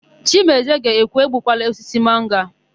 Chimezie ga-ekwu, "egbukwala osisi mango a"!